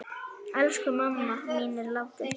Elsku mamma mín er látin.